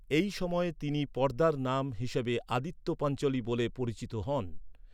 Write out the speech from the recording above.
এই সময়ে তিনি পর্দার নাম হিসেবে আদিত্য পাঞ্চোলি বলে পরিচিত হন।